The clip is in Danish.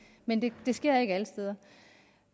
men det sker ikke alle steder